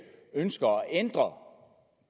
ønsker at ændre